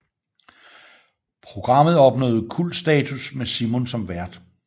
Programmet opnåede kultstatus med Simon som vært